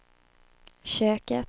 köket